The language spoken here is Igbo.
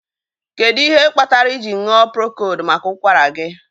Kedụ ihe kpatara iji ṅụọ prokold maka ụkwara gị?